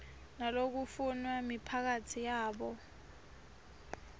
nalokufunwa miphakatsi yabo